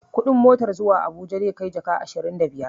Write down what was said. Kuɗin motar zuwa habuja zai jaka ashirin da biyar